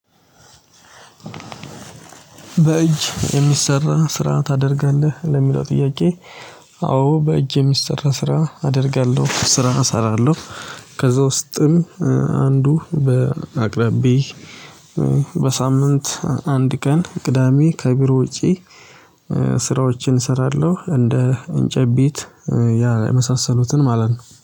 በእጅ የሚሰራ ስራ ታደርጋለህ? ለሚለው ጥያቄ አዎ በእጄ የሚሰራ ስራ አደርጋለሁ ስራ እሰራለሁ ከዛ ውስጥም አንዱ በአቅራቢ በሳምንት አንድ ቀን ቅዳሜ ከቢሮ ውጪ ስራዎችን እሰራለሁ እንደ እንጨትቤት ያ የመሳሰሉትን ማለት ነው